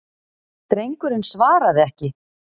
Drengurinn svaraði ekki.